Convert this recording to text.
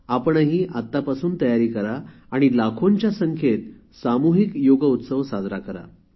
आपणही आत्तापासून तयारी करा आणि लाखोंच्या संख्येत सामुहिक योग उत्सव साजरा करा